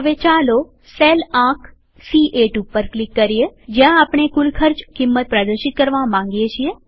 હવે ચાલો સેલ આંક સી8 ઉપર ક્લિક કરીએ જ્યાં આપણે કુલ ખર્ચ કિંમત પ્રદર્શિત કરવા માંગીએ છીએ